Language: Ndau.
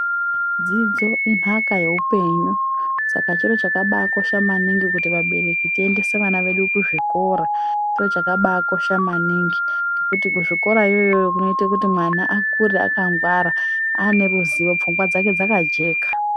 Dzidzo inhaka yeupenyu saka chiro chakabakosha maningi kuti vabereki tiendese vana vedu kuzvikora chiro chakabakosha maningi ngekuti kuzvikorayoyo kunoita kuti mwana akure akangwara aaneruzivo pfungwa dzake dzakajeka.